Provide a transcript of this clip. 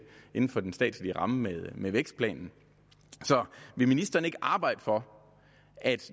inden for den statslige ramme med vækstplanen så vil ministeren ikke arbejde for at